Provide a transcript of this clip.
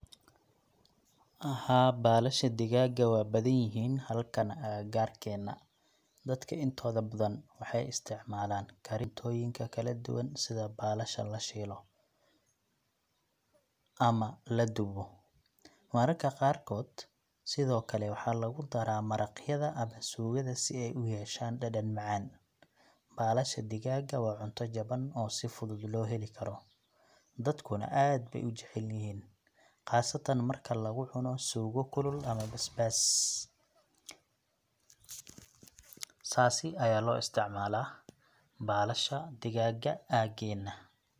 Haa, baalasha digaagga waa badan yihiin halkan agagaarkeena. Dadka intooda badan waxay isticmaalaan karinta cuntooyin kala duwan sida baalasha la shiilo ama la dubo. Mararka qaarkood sidoo kale waxaa lagu daraa maraqyada ama suugada si ay u yeeshaan dhadhan macaan. Baalasha digaagga waa cunto jaban oo si fudud loo heli karo, dadkuna aad bay u jecel yihiin, khaasatan marka lagu cuno suugo kulul ama basbaas .Saasi ayaa loo isticmalaa baalasha digaaga aageena.